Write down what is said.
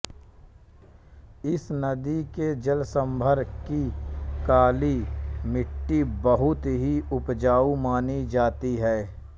इस नदी के जलसम्भर की काली मिटटी बहुत ही उपजाऊ मानी जाती है